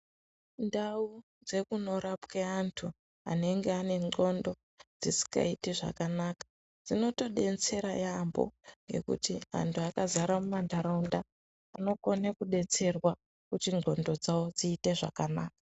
Ndau dzekunorapwe antu anenge ane ndxondo dzisikaiti zvakanaka dzinotodetsera yambo ngekuti antu akadzara mumantaraunda anokone kudetserwa kuti ndxondo dzawo dziite zvakanaka.